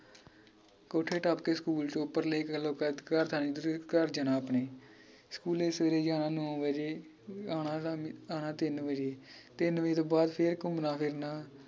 ਕੋਠਿਯੋੰ ਟੱਪ ਕੇ ਸਕੂਲ ਚ ਉੱਪਰਲੇ ਘਰ ਥਾਨਿ ਤੁਸੀਂ ਘਰ ਜਾਣਾ ਆਪਣੇ ਸਕੂਲੇ ਸਵੇਰੇ ਜਾਣਾ ਨੌ ਵਜੇ ਆਣਾ ਹੈਗਾ ਆਣਾ ਤਿੰਨ ਵਜੇ ਤਿੰਨ ਵਜੇ ਤੋਂ ਬਾਅਦ ਫੇਰ ਘੁੰਮਣਾ ਫਿਰਨਾ